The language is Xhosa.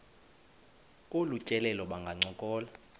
kolu tyelelo bangancokola